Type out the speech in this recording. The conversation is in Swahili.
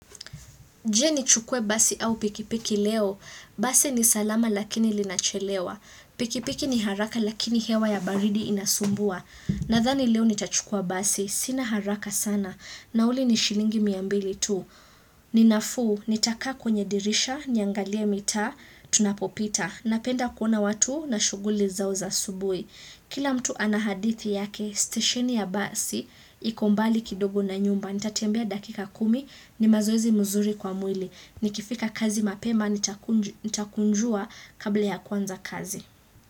Je nichukue basi au pikipiki leo? Basi ni salama lakini linachelewa. Pikipiki ni haraka lakini hewa ya baridi inasumbua. Nadhani leo nitachukua basi. Sina haraka sana. Nauli ni shilingi mia mbili tu. Ninafuu, nitakaa kwenye dirisha, niangalie mitaa, tunapopita. Napenda kuona watu na shughuli zao za asubuhi. Kila mtu ana hadithi yake. Stesheni ya basi iko mbali kidogo na nyumba Nitatembea dakika kumi, ni mazoezi mazuri kwa mwili. Nikifika kazi mapema, nitakunjua kabla ya kuanza kazi.